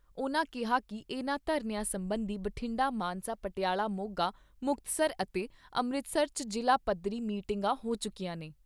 ਉਨ੍ਹਾਂ ਕਿਹਾ ਕਿ ਇਨ੍ਹਾਂ ਧਰਨਿਆਂ ਸਬੰਧੀ ਬਠਿੰਡਾ, ਮਾਨਸਾ, ਪਟਿਆਲਾ, ਮੋਗਾ, ਮੁਕਤਸਰ ਅਤੇ ਅੰਮ੍ਰਿਤਸਰ 'ਚ ਜ਼ਿਲਾ ਪੱਧਰੀ ਮੀਟਿੰਗਾਂ ਹੋ ਚੁੱਕੀਆਂ ਨੇ।